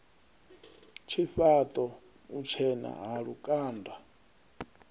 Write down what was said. tshifhaṱo u tshena ha lukanda